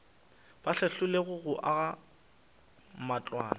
ba hlahlilwego go aga matlwana